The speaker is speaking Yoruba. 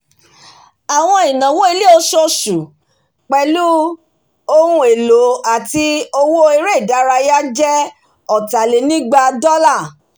àwọn ináwó ilé oṣooṣù pẹ̀lú ohun élò àti owó eré ìdárayáje ọ̀tàlénígba dola